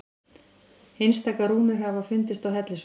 Einstaka rúnir hafa fundist á hellisveggjum.